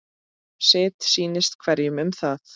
Sitt sýnist hverjum um það.